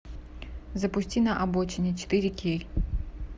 запусти на обочине четыре кей